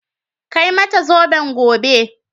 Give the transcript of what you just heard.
Kai mata zoben gobe